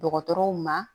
Dɔgɔtɔrɔw ma